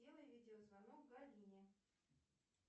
сделай видеозвонок галине